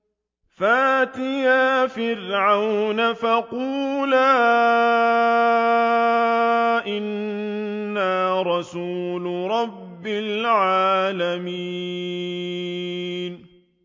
فَأْتِيَا فِرْعَوْنَ فَقُولَا إِنَّا رَسُولُ رَبِّ الْعَالَمِينَ